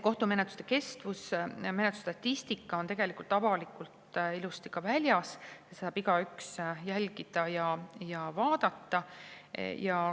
" Kohtumenetluste kestuse ja muu menetlusstatistika on tegelikult avalikult ilusti väljas, seda saab igaüks jälgida ja vaadata.